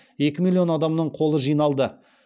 екі миллион адамның қолы жиналды